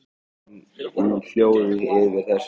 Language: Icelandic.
Ég bar harm minn í hljóði yfir þessu.